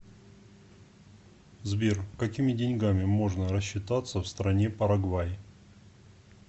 сбер какими деньгами можно рассчитаться в стране парагвай